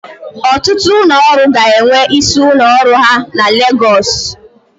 Ọtụtụ ụlọ ọrụ ga-enwe isi ụlọ ọrụ ha na Legọs.